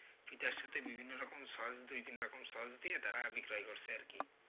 পিঠার সাথে বিভিন্ন রকম sauce দুই তিন রকম sauce দিয়ে তারা বিক্রয় করছে আরকি।